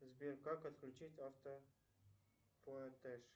сбер как отключить автоплатеж